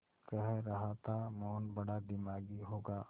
कह रहा था मोहन बड़ा दिमागी होगा